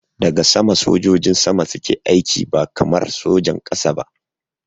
Daga sama sojojin sama suke aiki ba kamar sojan ƙasa ba